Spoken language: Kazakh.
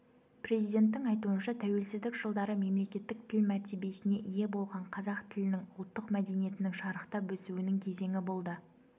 президенттің айтуынша тәуелсіздік жылдары мемлекеттік тіл мәртебесіне ие болған қазақ тілінің ұлттық мәдениеттің шарықтап өсуінің кезеңі болды